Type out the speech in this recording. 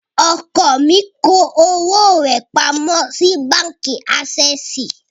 Ọkọ mi kó owó rẹ̀ pamọ́ sí báǹkì ásẹ́ẹ̀sì.